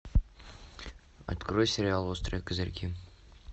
открой сериал острые козырьки